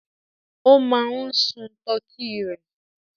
O máa ń sun tọkí rẹ̀.